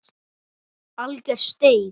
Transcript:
Alger steik.